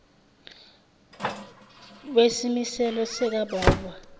wesimiselo sika baobab